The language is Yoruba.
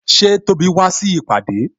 Ṣé Tóbi wá síbi ìpàdé?